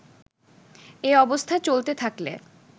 এ অবস্থা চলতে থাকলে